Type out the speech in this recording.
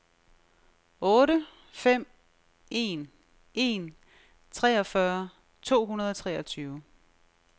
otte fem en en treogfyrre to hundrede og treogtyve